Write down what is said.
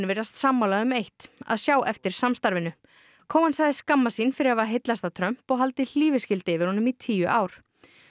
virðast sammála um eitt að sjá eftir samstarfinu sagðist skammast sín fyrir að hafa heillast af Trump og haldið hlífiskildi yfir honum í tíu ár